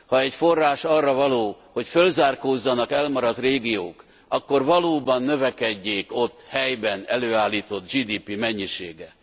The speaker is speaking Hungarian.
Ha egy forrás arra való, hogy fölzárkózzanak elmaradt régiók, akkor valóban növekedjék ott helyben előállított GDP mennyisége.